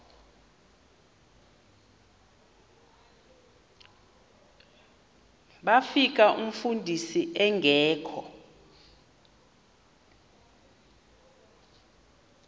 bafika umfundisi engekho